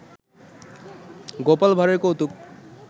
গোপাল ভাড়ের কৌতুক